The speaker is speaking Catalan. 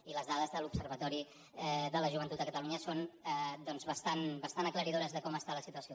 i les dades de l’observatori de la joventut de catalunya són bastant aclaridores de com està la situació